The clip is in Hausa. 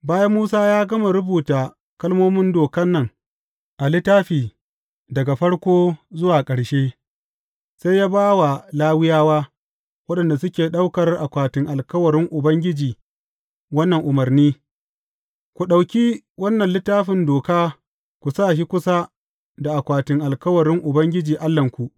Bayan Musa ya gama rubuta kalmomin dokan nan a littafi daga farko zuwa ƙarshe, sai ya ba wa Lawiyawa, waɗanda suke ɗaukar akwatin alkawarin Ubangiji wannan umarni, Ku ɗauki wannan Littafin Doka ku sa shi kusa da akwatin alkawarin Ubangiji Allahnku.